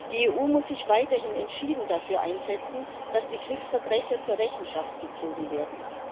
Die EU muss sich weiterhin entschieden dafür einsetzen, dass die Kriegsverbrecher zur Rechenschaft gezogen werden.